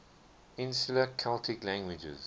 insular celtic languages